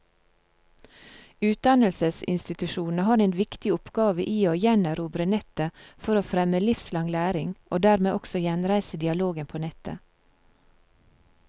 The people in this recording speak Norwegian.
Utdannelsesinstitusjonene har en viktig oppgave i å gjenerobre nettet for å fremme livslang læring, og dermed også gjenreise dialogen på nettet.